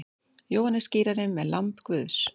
Jóhannes skírari með lamb Guðs.